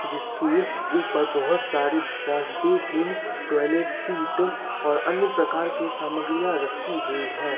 जिसके ऊपर बहोत सारी टॉयलेट सीट और अन्य प्रकार की सामग्रियां रखी हुई है।